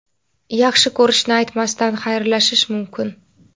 yaxshi ko‘rishini aytmasdan xayrlashish mumkin?.